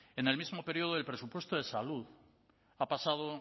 en el mismo periodo del presupuesto de salud ha pasado